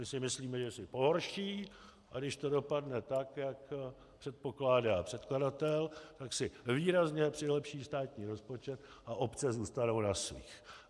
My si myslíme, že si pohorší, a když to dopadne tak, jak předpokládá předkladatel, tak si výrazně přilepší státní rozpočet a obce zůstanou na svých.